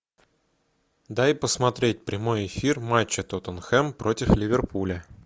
дай посмотреть прямой эфир матча тоттенхэм против ливерпуля